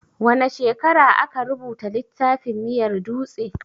Wane shekara aka rubuta littafin miyar dutse?